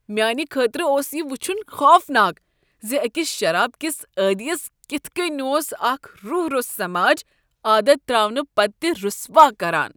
میانہ خٲطرٕ اوس یہ وُچھن خوفناک ز أکس شرابہ كِس عادِیس كِتھ کٔنۍ اوس اكھ روح روٚس سماج عادت ترٛاونہٕ پتہٕ تہِ رُسوا كران۔